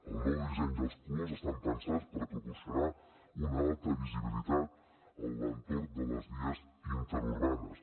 el nou disseny i els colors estan pensats per proporcionar una alta visibilitat a l’entorn de les vies interurbanes